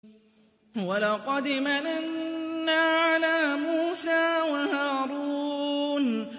وَلَقَدْ مَنَنَّا عَلَىٰ مُوسَىٰ وَهَارُونَ